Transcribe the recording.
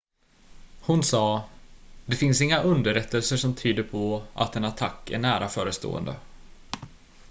"hon sa: "det finns inga underrättelser som tyder på att en attack är nära förestående.""